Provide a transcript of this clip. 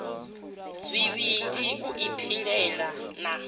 zwivhili u i pilela na